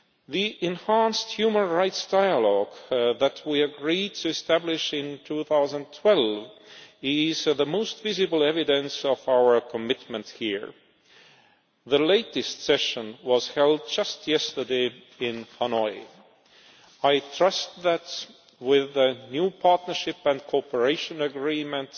The enhanced human rights dialogue that we agreed to establish in 2012 is the most visible evidence of our commitment here. The latest session was held just yesterday in Hanoi. I trust that with the new Partnership and Cooperation Agreement,